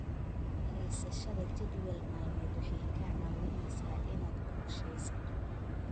Haysashada jadwal maalmeed waxay kaa caawinaysaa inaad qorsheysato.